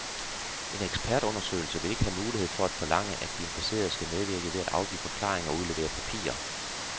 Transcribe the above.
En ekspertundersøgelse vil ikke have mulighed for at forlange, at de implicerede skal medvirke ved at afgive forklaring og udlevere papirer.